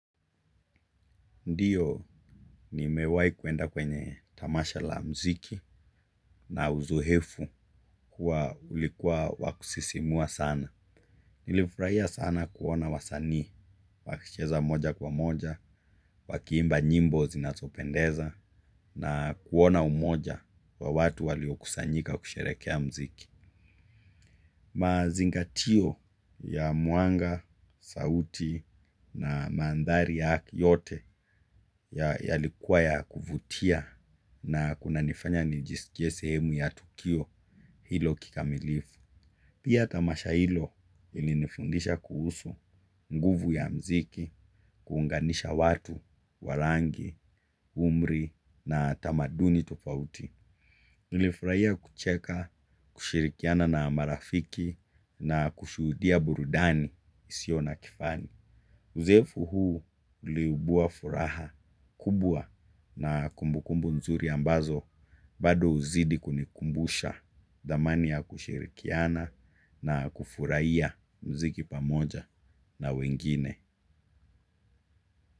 Ndiyo nimewai kuenda kwenye tamasha la mziki na uzuhefu kuwa ulikuwa wakusisimua sana. Nilifraia sana kuona wasanii, wakicheza moja kwa moja, wakiimba nyimbo zinazopendeza na kuona umoja kwa watu walio kusanyika kusherekea mziki. Mazingatio ya muanga, sauti na maandhari ya yote yalikuwa ya kuvutia na kuna nifanya nijisikie sehemu ya tukio hilo kikamilifu. Pia tamasha hilo ilinifundisha kuhusu nguvu ya mziki, kuunganisha watu, warangi, umri na tamaduni tofauti. Nilifurahia kucheka, kishirikiana na marafiki na kushurudia burudani isio na kifani. Uzefu huu liubua furaha kubwa na kumbukumbu nzuri ambazo bado uzidi kunikumbusha dhamani ya kushirikiana na kufurahia mziki pamoja na wengine.